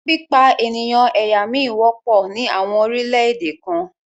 Pípa ènìyàn ẹ̀yà mí wọ́pọ̀ ní àwọn orílẹ̀-èdè kan